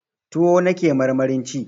Tuwo nake marmarin ci